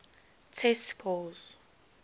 test scores